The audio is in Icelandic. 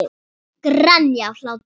Grenja af hlátri.